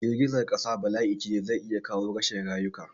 Girgizan ƙasa bala'ice da zai iya kawo rashin rayuka